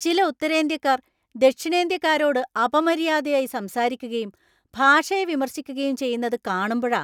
ചില ഉത്തരേന്ത്യക്കാർ ദക്ഷിണേന്ത്യക്കാരോട് അപമര്യാദയായി സംസാരിക്കുകയും ഭാഷയെ വിമർശിക്കുകയും ചെയ്യുന്നത് കാണുമ്പഴാ.